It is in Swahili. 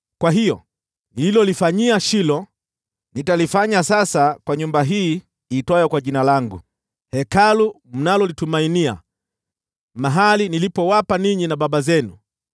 Kwa hiyo, nililolifanyia Shilo, nitalifanya sasa kwa nyumba hii iitwayo kwa Jina langu, Hekalu mnalolitumainia, mahali nilipowapa ninyi na baba zenu.